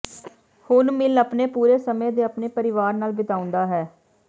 ਹੁਣ ਮਿੱਲ ਆਪਣੇ ਪੂਰੇ ਸਮੇਂ ਦੇ ਆਪਣੇ ਪਰਿਵਾਰ ਨਾਲ ਬਿਤਾਉਂਦਾ ਹੈ